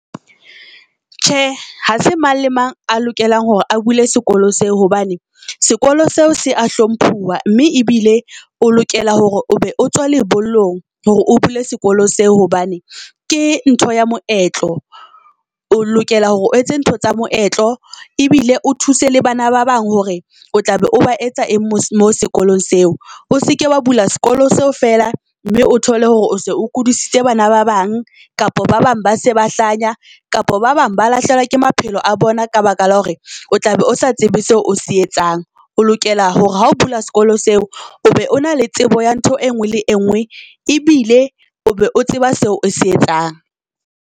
Tjhe, ha se mang le mang a lokelang hore a bule sekolo seo. Hobane sekolo seo se a hlomphuwa mme ebile o lokela hore o be o tswa lebollong hore o bule sekolo seo. Hobane ke ntho ya moetlo, o lokela hore o etse ntho tsa moetlo ebile o thuse le bana ba bang hore o tla be o ba etsa eng mo sekolong seo. O seke wa bula sekolo seo feela mme o thole hore o se o kodisitse bana ba bang kapa ba bang ba se ba hlanya kapa ba bang ba lahlehelwa ke maphelo a bona. Ka baka la hore o tla be o sa tsebe seo o se etsang, o lokela hore ha o bula sekolo seo, o be o na le tsebo ya ntho e ngwe le e ngwe. E bile o be o tseba seo o se etsang.